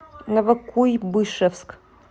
новокуйбышевск